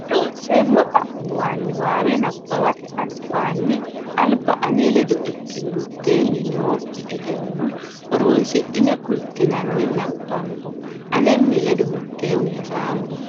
Loonseemmo xa muwa niwaawe nabbawate albaanni alba ane ledo ikkine mitteenni noo ne egenno horonsidhine kultinanna nabbambo anenni ledo mitteenni hasaambo.